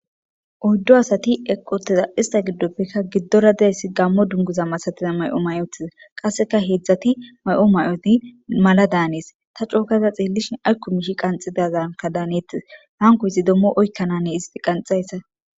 oyddo asati eqoteza ista giddoppekka giddora derayssi gammo dunguza masatiza may7o may7otiza qasseka heedzdzati may7o may7oti mala daanees ta cookaza xeellishin aykko mishi qanxi dazanka daanettes hankoysi dommo oykkananne isti qanxayssa.